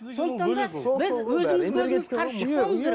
сондықтан да біз өзімізге өзіміз қарсы шықпауымыз керек